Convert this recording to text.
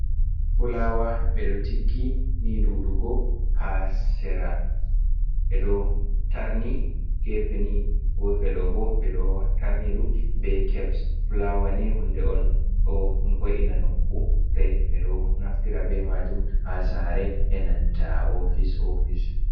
Fulawa. Ɓe ɗo tiggi ni ɗuuɗugo haa sera. Ɓe ɗo tarni geefe ni, geefe ɗo bo, ɓe ɗo tarni ɗum be keps. Fulawa ni hunde on ɗo ho’ina nokku. Ɓe ɗo naftira be maajum haa saare, e nanta ofis ofis.